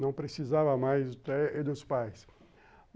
Não precisava mais dos pais.